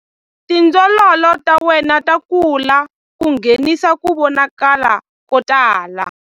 Tindzololo ta wena ta kula ku nghenisa ku vonakala ko tala.